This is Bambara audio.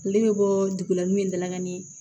Ne bɛ bɔ dugu la n'u ye dalakanni